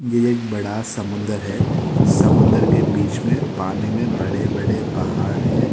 एक बड़ा समुंदर है समुद्र के बीच में पानी में बड़े बड़े पहाड़ है।